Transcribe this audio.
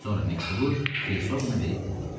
Sonra məktubu Xrisoqna verib dedi: